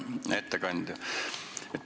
Hea ettekandja!